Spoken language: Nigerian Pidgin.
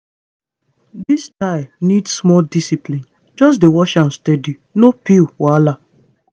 this style need small discipline. just dey watch am steady no pill wahala.